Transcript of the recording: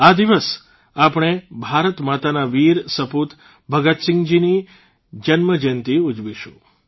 આ દિવસ આપણે ભારતમાતાના વીર સપૂત ભગતસિંહજીની જયંતિ ઉજવીશું